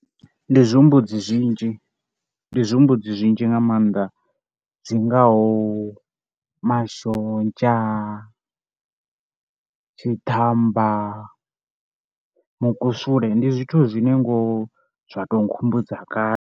Ndi zwihumbudzi zwinzhi, ndi zwihumbudzi zwinzhi nga maanḓa zw ngaho mashonzha, tshiḓamba, mukusule. Ndi zwithu zwine ngoho zwa tou nkhumbudza kale.